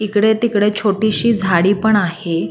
इकडे तिकडे छोटीशी झाडी पण आहे.